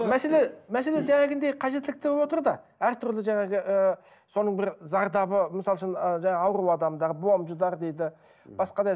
мәселе мәселе қажеттілік деп отыр да әртүрлі жаңағы ііі соның бір зардабы мысалы үшін і жаңағы ауру адамдар бомждар дейді басқа да